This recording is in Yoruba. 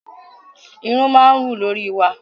Irun máa ń wù lórí wa.